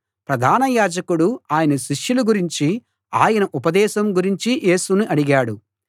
ప్రధాన యాజకుడు ఆయన శిష్యుల గురించీ ఆయన ఉపదేశం గురించీ యేసును అడిగాడు